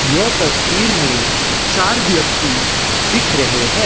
यह तस्वीर में चार व्यक्ति दिख रहे हैं।